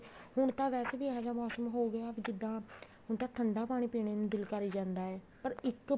ਹੁਣ ਤਾਂ ਵੈਸੇ ਵੀ ਇਹ ਜਾ ਮੋਸਮ ਹੋਗਿਆ ਜਿੱਦਾਂ ਹੁਣ ਤਾਂ ਠੰਡਾ ਪਾਣੀ ਪੀਣੇ ਨੂੰ ਦਿਲ ਕਰੀ ਜਾਂਦਾ ਹੈ ਪਰ ਇੱਕ